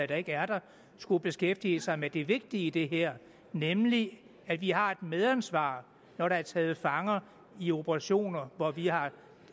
der ikke er der skulle beskæftige sig med det vigtige i det her nemlig at vi har et medansvar når der er taget fanger i operationer hvor vi har